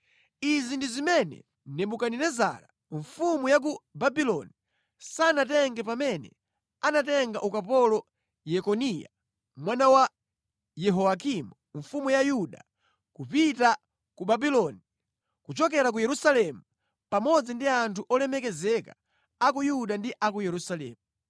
Izi ndi zimene Nebukadinezara mfumu ya ku Babuloni sanatenge pamene anatenga ukapolo Yekoniya mwana wa Yehoyakimu mfumu ya Yuda kupita ku Babuloni kuchokera ku Yerusalemu, pamodzi ndi anthu olemekezeka a ku Yuda ndi a ku Yerusalemu.